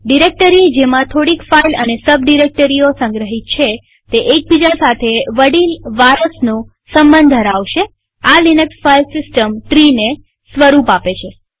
directory જેમાં થોડીક file અને સબ ડિરેક્ટરીઓ સંગ્રહિત છે તે એકબીજા સાથે વડીલ વારસનો સંબંધ ધરાવશેઆ લિનક્સ ફાઈલ સિસ્ટમ ટ્રીને સ્વરૂપ આપે છે